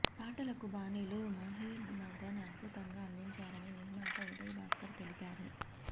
పాటలకు బాణీలు మహి మదన్ అద్భుతంగా అందించారని నిర్మాత ఉదయభాస్కర్ తెలిపారు